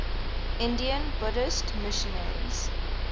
indian buddhist missionaries